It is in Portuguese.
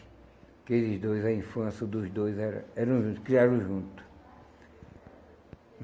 Aqueles dois, a infância dos dois era eram juntos, criaram juntos.